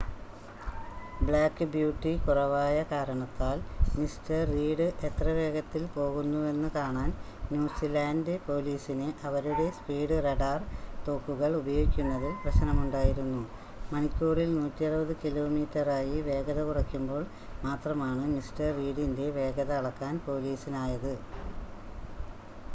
black beauty കുറവായ കാരണത്താൽ Mr Reid എത്ര വേഗത്തിൽ പോകുന്നുവെന്ന് കാണാൻ ന്യൂസിലാൻഡ് പോലീസിന് അവരുടെ സ്പീഡ് റഡാർ തോക്കുകൾ ഉപയോഗിക്കുന്നതിൽ പ്രശ്‌നമുണ്ടായിരുന്നു മണിക്കൂറിൽ 160 കിലോമീറ്ററായി വേഗത കുറയ്ക്കുമ്പോൾ മാത്രമാണ് മിസ്റ്റർ റീഡിൻ്റെ വേഗത അളക്കാൻ പോലീസിനായത്